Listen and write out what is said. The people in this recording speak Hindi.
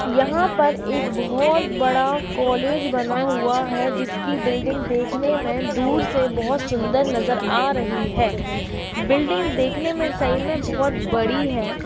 यहां पर एक बहुत बड़ा कॉलेज बना हुआ है। जिसकी बिल्डिंग देखने में दूर से बहुत सुंदर नजर आ रही है। बिल्डिंग देखने में सही में बहुत बड़ी है।